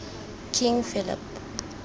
king philip